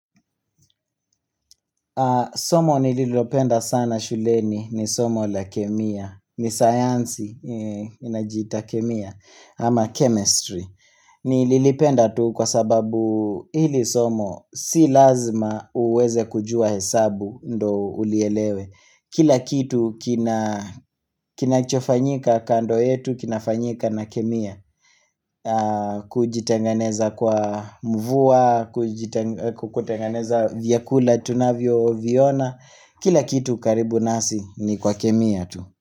Somo nililopenda sana shuleni ni somo la kemia, ni sayansi inajita kemia ama chemistry. Nililipenda tu kwa sababu ili somo si lazima uweze kujua hesabu ndo ulielewe. Kila kitu kina chofanyika kando yetu, kinafanyika na kemia Kujitenganeza kwa mvua, kutengeneza vyakula tunavyo viona Kila kitu karibu nasi ni kwa kemia tu.